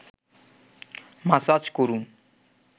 massage করুন